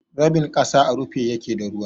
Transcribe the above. Rabin kasa à rufe yake da ruwa.